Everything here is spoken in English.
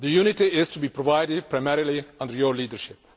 The unity is to be provided primarily under your leadership.